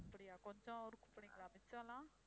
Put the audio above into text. அப்படியா கொஞ்சம் ஊருக்கு போனீங்களா மிச்சமெல்லாம்?